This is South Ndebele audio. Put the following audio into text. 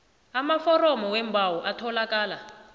amaforomo weembawo atholakala